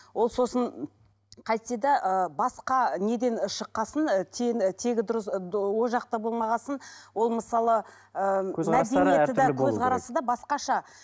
ол сосын қайтсе де ы басқа неден шыққан соң ы тегі дұрыс ол жақта болмаған соң ол мысалы ы мәдениеті де көзқарасы да басқаша